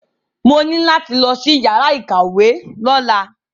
Mo ní láti lọ sí yàrá ìkàwé lọ́la.